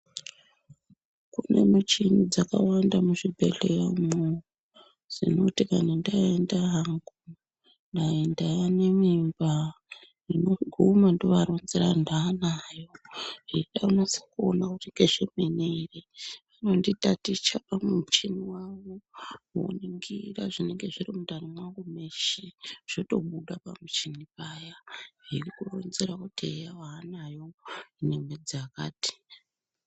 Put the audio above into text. Kune micheni dzakawanda muzvibhedheya umwo zvinoti kuti ndaenda hangu dai ndane mimba ndinoguma ndovaronzera kuti ndanayo .veida kunasa kuona kuti ngeyemene ere vonditaticha pamichini yavo, voningira zvinenge zviri mundani mwangumweshe zvotobuda pamuchini paya kundironzera kuti eya wanayo ine mwedzi yakati.